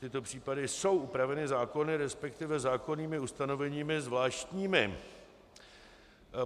Tyto případy jsou upraveny zákony, respektive zákonnými ustanoveními zvláštními.